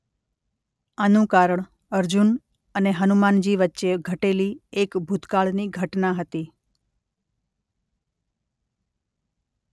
આનું કારણ અર્જુન અને હનુમાનજી વચ્ચે ઘટેલી એક ભૂતકાળની ઘટના હતી.